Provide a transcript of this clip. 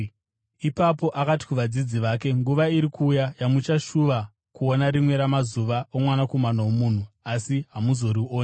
Ipapo akati kuvadzidzi vake, “Nguva iri kuuya yamuchashuva kuona rimwe ramazuva oMwanakomana woMunhu, asi hamuzorioni.